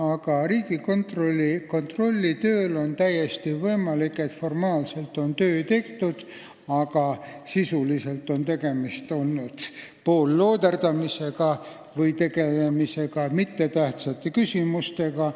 Aga Riigikontrolli töös on täiesti võimalik, et formaalselt on töö tehtud, aga sisuliselt on tegemist olnud poollooderdamisega või on tegeldud mittetähtsate küsimustega.